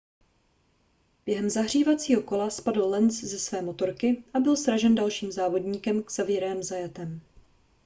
během zahřívacího kola spadl lenz ze své motorky a byl sražen dalším závodníkem xavierem zayatem